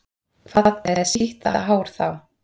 Hvað með sítt hár þá?